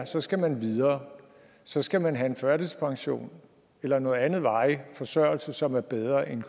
så skal man videre så skal man have en førtidspension eller noget andet varig forsørgelse som er bedre end